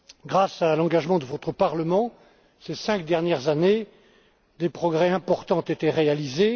Grâce à l'engagement de votre Parlement ces cinq dernières années, des progrès importants ont été réalisés.